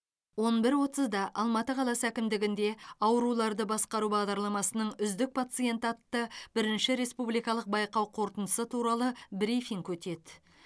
он бір отызда алматы қаласы әкімдігінде ауруларды басқару бағдарламасының үздік пациенті атты бірінші республикалық байқау қорытындысы туралы брифинг өтеді